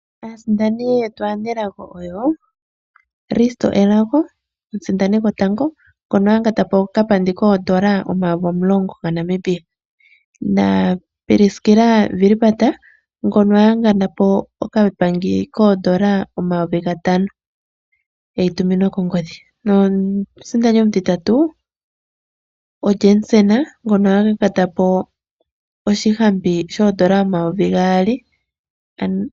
Aasindani yetu aanelago oyo Risto Elago omusindani gotango ngono ayangatapo okapandi koodola omayovi omulongo gaNamibia na Priskila Wilbard ngono a yangatapo okapandi koodola omayovi gatano eyi tuminwa kongodhi nomusindani omutitatu o Jansen ngono ayangatapo oshihampi shoodola omayovi gaali.